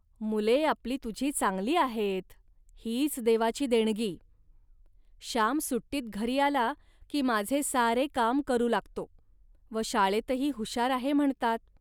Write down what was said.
मुले आपली तुझी चांगली आहेत, हीच देवाची देणगी. श्याम सुट्टीत घरी आला, की माझे सारे काम करू लागतो व शाळेतही हुशार आहे म्हणतात